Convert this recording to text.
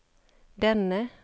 denne